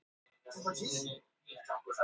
Þriðji markalausi leikurinn í röð hjá þeim.